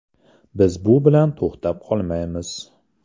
Biz bu bilan to‘xtab qolmaymiz.